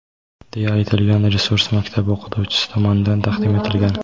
deya aytilgan resurs maktab o‘qituvchisi tomonidan taqdim etilgan.